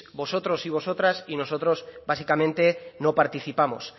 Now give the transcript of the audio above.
vosotros y vosotras y nosotros básicamente no participamos